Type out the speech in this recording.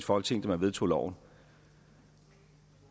folketing da man vedtog loven